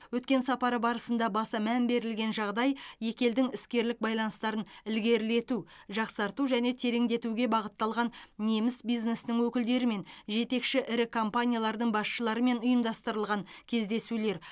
өткен сапар барысында баса мән берілген жағдай екі елдің іскерлік байланыстарын ілгерілету жақсарту және тереңдетуге бағытталған неміс бизнесінің өкілдерімен жетекші ірі компаниялардың басшыларымен ұйымдастырылған кездесулер